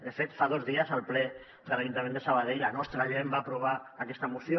de fet fa dos dies al ple de l’ajuntament de sabadell la nostra gent va aprovar aquesta moció